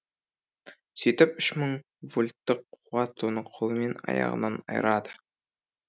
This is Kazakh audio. сөйтіп үш мың волттық қуат оны қолымен аяғынан айырады